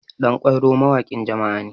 ɗankwairo mawakin jama'a ne